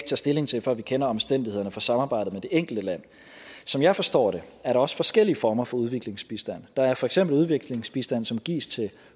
stilling til før vi kender omstændighederne for samarbejdet med det enkelte land som jeg forstår det er der også forskellige former for udviklingsbistand der er for eksempel udviklingsbistand som gives til